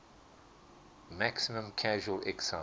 maximum casual excise